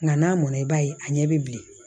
Nka n'a mɔna i b'a ye a ɲɛ bɛ bilen